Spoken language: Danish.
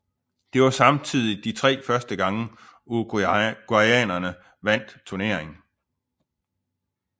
Det var samtidig de tre første gange uruguayanerne vandt turneringen